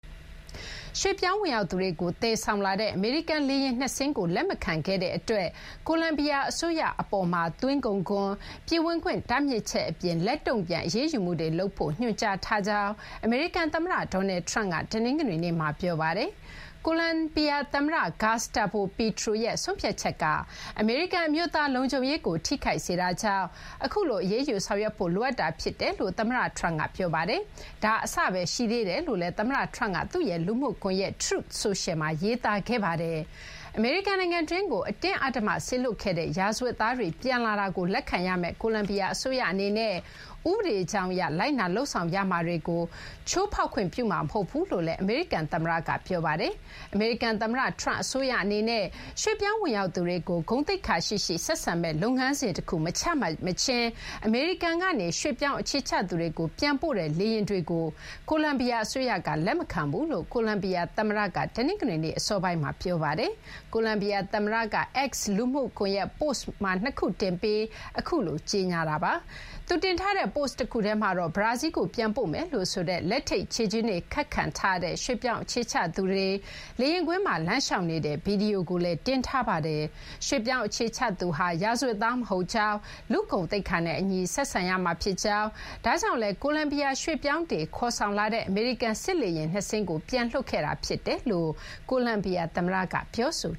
ရွှေ့ပြောင်းဝင်ရောက်သူတွေကို သယ်ဆောင်လာတဲ့ အမေရိကန် လေယာဉ် ၂ စင်း ကို လက်မခံခဲ့တဲ့ အတွက် ကိုလံဘီယာ အစိုးရ အပေါ်မှာ သွင်းကုန်ခွန်၊ ပြည်ဝင်ခွင့် တားမြစ်ချက် အပြင် လက်တုံ့ပြန် အရေးယူမှုတွေ လုပ်ဖို့ ညွှန်ကြားခဲ့ကြောင်း အမေရိကန် သမ္မတ Donald Trump က တနင်္ဂနွေနေ့မှာ ပြောပါတယ်။ ကိုလံဘီယာ သမ္မတ Gustavo Petro ရဲ့ ဆုံးဖြတ်ချက်က အမေရိကန် အမျိုးသား လုံခြုံရေးကို ထိခိုက်စေတာကြောင့် အခုလို အရေးယူ ဆောင်ရွက်ဖို့ လိုအပ်တာ ဖြစ်တယ်လို့လည်း သမ္မတ Trump က ပြောပါတယ်။ ဒါ အစပဲ ရှိသေးတယ်လို့လည်း သမ္မတ Trump က သူ့ရဲ့ လူမှုကွန်ရက် Truth Social မှာ ရေးသားခဲ့ပါတယ်။ အမေရိကန်နိုင်ငံတွင်းကို အတင်းအဓမ္မ စေလွှတ်ခဲ့တဲ့ ရာဇဝတ်သားတွေ ပြန်လာတာကို လက်ခံရမယ့် ကိုလံဘီယာ အစိုးရ အနေနဲ့ ဥပဒေကြောင်းအရ လိုက်နာ လုပ်ဆောင်ရမှာတွေကို ချိုးဖောက်ခွင့် ပြုမှာ မဟုတ်ဘူးလို့လည်း အမေရိကန် သမ္မတက ပြောပါတယ်။ အမေရိကန် သမ္မတ Trump အစိုးရ အနေနဲ့ ရွှေ့ပြောင်းဝင်ရောက်သူတွေကို ဂုဏ်သိက္ခာရှိရှိ ဆက်ဆံမယ့် လုပ်ငန်းစဉ် တခု မချမှတ် မချင်း အမေရိကန်ကနေ ရွှေ့ပြောင်းအခြေချသူတွေကို ပြန်ပို့တဲ့ လေယာဉ်တွေကို ကိုလံဘီယာ အစိုးရက လက်မခံဘူးလို့ ကိုလံဘီယာ သမ္မတ Petro က တနင်္ဂနွေနေ့ အစောပိုင်းမှာ ပြောဆိုထားပါတယ်။ ကိုလံဘီယာ သမ္မတ Petro က X လူမှုကွန်ရက်မှာ ပိုစ့် ၂ ခုတင်ပြီး အခုလို ကြေညာခဲ့တာပါ။ သူ တင်ထားတဲ့ ပိုစ့် တခုထဲမှာတော့ ဘရာဇီလ်းကို ပြန်ပို့မယ်လို့ ဆိုတဲ့ လက်ထိပ် ခြေကျင်းတွေ ခတ်ခံထားရတဲ့ ရွှေ့ပြောင်း အခြေချသူတွေ လေယာဉ်ကွင်းမှာ လမ်းလျှောက်နေတဲ့ ဗွီဒီယိုကိုလည်း တင်ထားပါတယ်။ ရွှေ့ပြောင်း အခြေချသူဟာ ရာဇဝတ်သား မဟုတ်ကြောင်း၊ လူ့ဂုဏ်သိက္ခာနဲ့ အညီ ဆက်ဆံရမှာ ဖြစ်ကြောင်း၊ ဒါကြောင့်လည်း ကိုလံဘီယာ ရွှေ့ပြောင်းတွေ ခေါ်ဆောင်လာတဲ့ အမေရိကန် စစ်လေယာဉ် ၂ စင်း ကို ပြန်လွှတ်ခဲ့တာ ဖြစ်တယ်လို့ ကိုလံဘီယာ သမ္မတက ပြောဆို